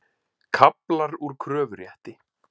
Kaflar úr kröfurétti.